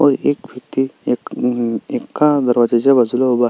व एक व्यक्ति एक मम एका दरवाजाच्या बाजूला उभा आहे.